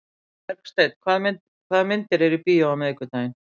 Bergsteinn, hvaða myndir eru í bíó á miðvikudaginn?